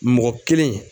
Mɔgɔ kelen